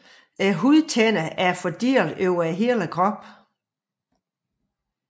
Hudtænderne er fordelt over hele kroppen